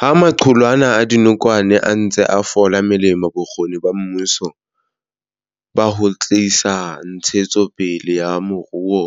Ha maqulwana a dinokwane a ntse a fola melemo, bokgoni ba mmuso ba ho tlisa ntshetsopele ya moruo